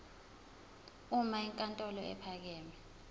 uma inkantolo ephakeme